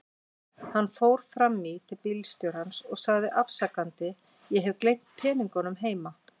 Hann fór fram í til bílstjórans og sagði afsakandi: Ég hef gleymt peningunum heima.